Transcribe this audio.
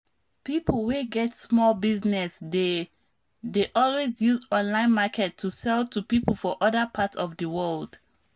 people wey get small business dey dey always use online market to sell to people for other part of di world